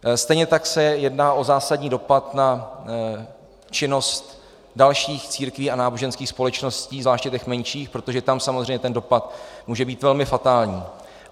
Stejně tak se jedná o zásadní dopad na činnost dalších církví a náboženských společností, zvláště těch menších, protože tam samozřejmě ten dopad může být velmi fatální.